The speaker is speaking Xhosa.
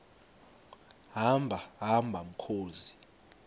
hamba hamba mkhozi